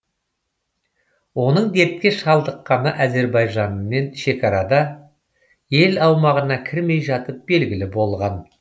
оның дертке шалдыққаны әзербайжанмен шекарада ел аумағына кірмей жатып белгілі болған